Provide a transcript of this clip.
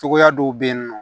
Cogoya dɔw bɛ yen nɔ